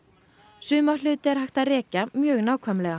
suma hluti er hægt að rekja mjög nákvæmlega